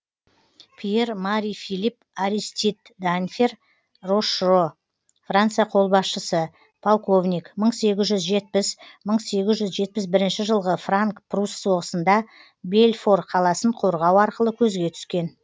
пьер мари филипп аристид данфер рошро франция қолбасшысы полковник мың сегіз жүз жетпіс мың сегіз жүз жетпіс бірінші жылғы франк прусс соғысында бельфор қаласын қорғау арқылы көзге түскен